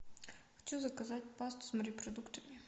хочу заказать пасту с морепродуктами